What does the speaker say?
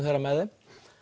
þeirra með þeim